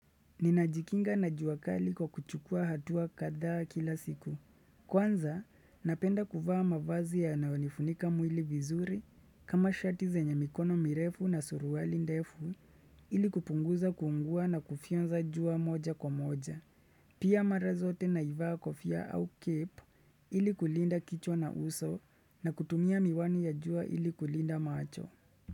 Ninajikinga na jua kali kwa kuchukua hatua kadhaa kila siku. Kwanza, napenda kuvaa mavazi yanayonifunika mwili vizuri kama shati zenye mikono mirefu na surwali ndefu ili kupunguza kuungua na kufyonza jua moja kwa moja. Pia mara zote naivaa kofia au cape ili kulinda kichwa na uso na kutumia miwani ya jua ili kulinda macho.